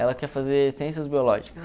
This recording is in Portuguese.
Ela quer fazer ciências biológicas.